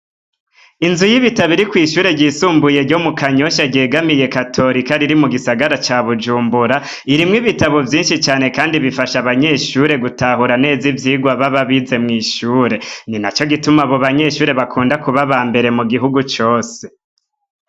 Inzu yibitabo iri kw'ishure ryisumbuye ryo mu Kanyosha ryegamiye katorika riri mu gisagara ca Bujumbura. Irimwo ibitabu vyinshi cane kandi ifasha abanyeshure gutahura neza ivyigwa baba bize mw'ishure. Ni naco gituma abo banyeshure bakunda kuba aba mbere mu gihugu cose.